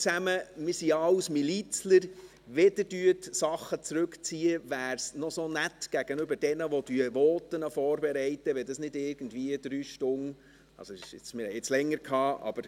Wir sind ja alle Milizler, und wenn Sie Vorstösse zurückziehen, wäre es gegenüber denjenigen, die Voten vorbereiten, noch nett, wenn dies nicht irgendwie drei Stunden vor der Behandlung geschehen würde.